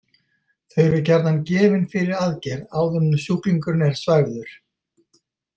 Þau eru gjarnan gefin fyrir aðgerð áður en sjúklingur er svæfður.